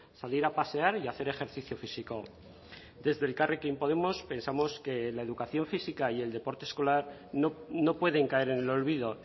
salir a pasear y a hacer ejercicio físico desde elkarrekin podemos pensamos que la educación física y el deporte escolar no pueden caer en el olvido